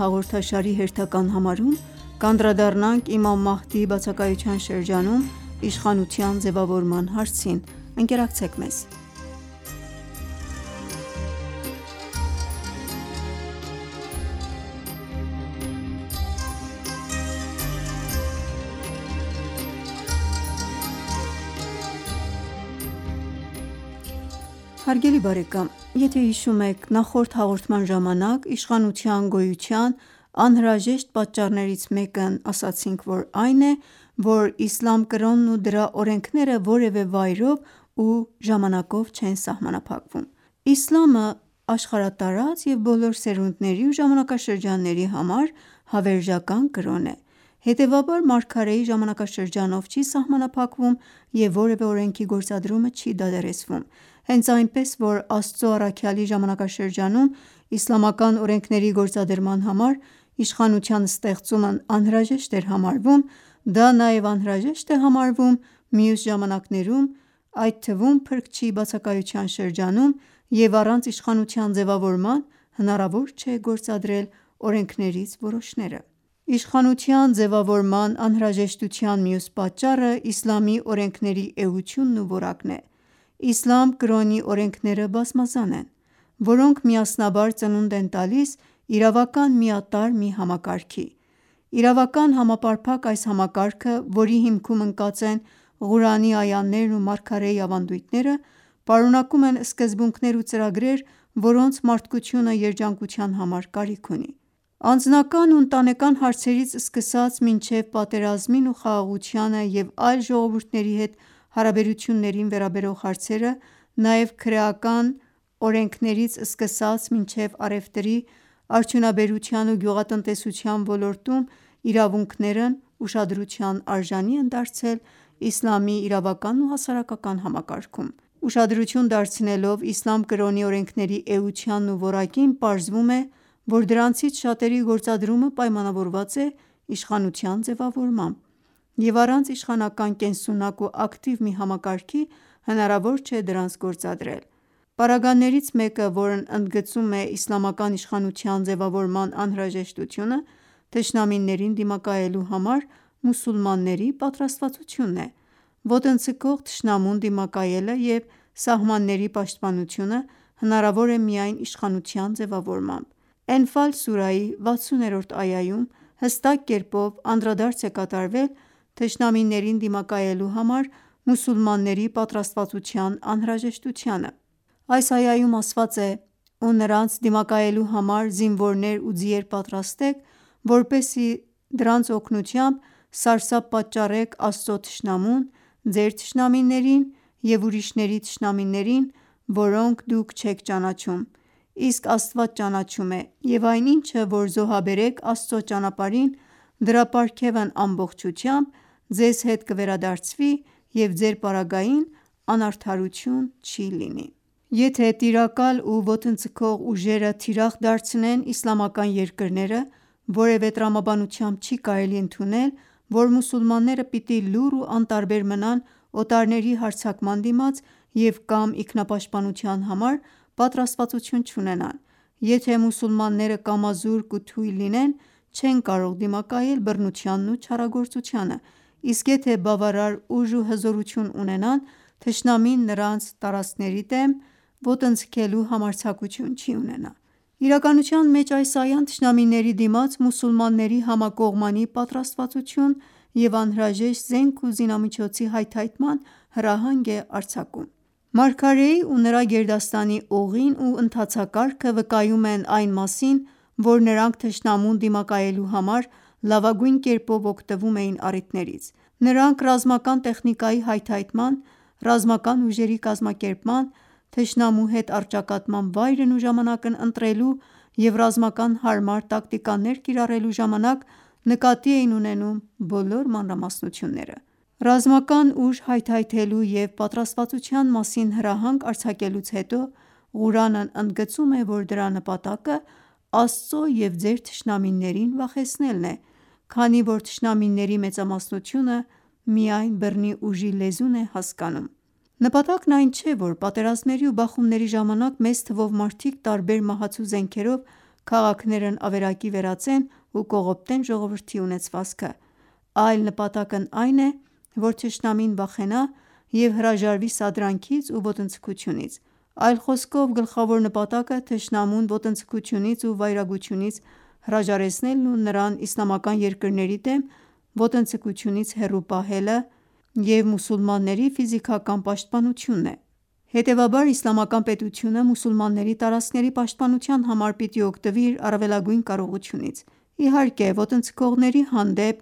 հաղորդաշարի հերթական համարում կանդրադառնանք Էմամ Մահդիի բացակայության շրջանում իշխանության ձևավորման հարցին: Եթե հիշում եք նախորդ հաղորդման ժամանակ ասացինք, որ իշխանության գոյության անհրաժեշտ պատճառներից մեկն այն է, որ իսլամ կրոնն ու դրա օրենքները որևէ վայրով ու ժամանակով չեն սահմանափակվում: Իսլամը աշխարհատարած և բոլոր սերունդների ու ժամանակաշրջանների համար հավերժական կրոն է: Հետևաբար մարգարեի ժամանակաշրջանով չի սահմանափակվում և որևէ օրենքի գործադրումը չի դադարեցվում: Հենց այնպես որ Աստծո առաքյալի ժամանակաշրջանում իսլամական օրենքների գործադրման համար իշխանության ստեղծումն անհրաժեշտ էր համարվում, դա նաև անհրաժեշտ է համարվում մյուս ժամանակներում ու այդ թվում փրկչի բացակայության շրջանում և առանց իշխանության ձևավորման հնարավոր չէ գործադրել օրենքներից որոշները: Իշխանության ձևավորման անհրաժեշտության մյուս պատճառը իսլամի օրենքների էությունն ու որակն է: Իսլամ կրոնի օրենքները բազմազան են, որոնք միասնաբար ծնունդ են տալիս իրավական միատարր մի համակարգի: Իրավական համապարփակ այս համակարգը, որի հիմքում ընկած են Ղուրանի այաներն ու մարգարեի ավանդույթները պարունակում են սկզբունքներ ու ծրագրեր, որոնց մարդկությունը երջանկության համար կարիք ունի: Անձնական ու ընտանեկան հարցերից սկսած մինչև պատերազմին ու խաղաղությանը և այլ ժողովուրդների հետ հարաբերություններին վերաբերող հարցերը, նաև քրեական օրենքներից սկսած մինչև առևտրի, արդյունաբերության ու գյուղատնտեսության ոլորտում իրավունքներն ուշադրության արժանի են դարձել իսլամի իրավական ու հասարակական համակարգում: Ուշադրություն դարձնելով իսլամ կրոնի օրենքների էությանն ու որակին պարզվում է, որ դրանցից շատերի գործադրումը պայմանավորված է իշխանության ձևավորմամբ և առանց իշխանական կենսունակ ու ակտիվ մի համակարգի հնարավոր չէ դրանց գործադրել: Պարագաներից մեկը, որն ընդգծում է իսլամական իշխանության ձևավորման անհրաժեշտությունը թշնամիներին դիմակայելու համար մուսուլմանների պատրաստվածությունն է: Ոտնձգող թշնամուն դիմակայելը և սահմանների պաշտպանությունը հնարավոր է միայն իշխանության ձևավորմամբ: «Էնֆալ» սուրայի 60-րդ այաում հստակ կերպով անդրադարձ է կատարվել թշնամիներին դիմակայելու համար մուսուլմանների պատրաստվածության անհրաժեշտությանը: Այս այաում ասված է. ««Ու նրանց դիմակայելու համար զինվորներ ու ձիեր պատրաստեք, որպեսզի դրանց օգնությամբ սարսափ պատճառեք Աստծո թշնամուն, ձեր թշնամիներին ու ուրիշների թշնամիներին, որոնց դուք չեք ճանաչում, իսկ Աստված ճանաչում է և այն ինչը, որ զոհաբերեք Աստծո ճանապարհին դրա պարգևն ամբողջությամբ ձեզ հետ կվերադարձվի և ձեր պարագային անարդարություն չի լինի»: Եթե տիրակալ ու ոտնձգող ուժերը թիրախ դարձնեն իսլամական երկրները, որևէ տրամաբանությամբ չի կարելի ընդունել, որ մուսուլմանները պիտի լուռ ու անտարբեր մնան օտարների հարձակման դիմաց և կամ ինքնապաշտպանության համար պատրաստվածություն չունենան: Եթե մուսուլմանները կամազուրկ ու թույլ լինեն չեն կարող դիմակայել բռնությանն ու չարագործությանը, իսկ եթե բավարար ուժ ու հզորություն ունենան, թշնամին նրանց տարածքների դեմ ոտնձգելու համարձակություն չի ունենա: Իրականության մեջ այս այան թշնամիների դիմաց մուսուլմանների համակողմանի պատրաստվածություն և անհրաժեշտ զենք ու զինամիջոցի հայթայթման հրահանգ է արձակում: Մարգարեի ու նրա գերդաստանի ուղին ու ընթացակարգը վկայում են այն մասին, որ նրանք թշնամուն դիմակայելու համար լավագույն կերպով օգտվում էին առիթներից: Նրանք ռազմական տեխնիկայի հայթայթման, ռազմական ուժերի կազմակերպման, թշնամու հետ առճակատման վայրն ու ժամանակն ընտրելու և ռազմական հարմար տակտիկաներ կիրառելու ժամանակ նկատի էին ունենում բոլոր մանրամասնությունները: Ռազմական ուժ հայթայթելու և պատրաստվածության մասին հրահանգ արձակելուց հետո Ղուրանն ընդգծում է, որ դրա նպատակը Աստծո և ձեր թշնամիներին վախեցնելն է, քանի որ թշնամիների մեծամասնությունը միայն բռնի ուժի լեզուն է հասկանում: Նպատակն այն չէ, որ պատերազմների ու բախումների ժամանակ մեծ թվով մարդիկ տարբեր մահացու զենքերով քաղաքներն ավերակի վերածեն ու կողոպտեն ժողովրդի ունեցվածքը: Այլ նպատակն այն է, որ թշնամին վախենա և հրաժարվի սադրանքից ու ոտնձգությունից: Այլ խոսքով գլխավոր նպատակը թշնամուն ոտնձգությունից ու վայրագությունից հրաժարեցնելն ու նրան իսլամական երկրների դեմ ոտնձգությունից հեռու պահելը և մուսուլմանների ֆիզիկական պաշտպանությունն է: Հետևաբար իսլամական պետությունը մուսուլմանների տարածքների պաշտպանության համար պիտի օգտվի իր առավելագույն կարողությունից: Իհարկե ոտնձգողների հանդեպ